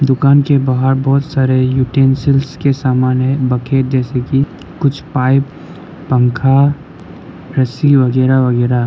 दुकान के बाहर बहोत सारे यूटेंसिस के सामान है बकेट जैसे कि कुछ पाइप पंखा रस्सी वैगैरा वैगैरा --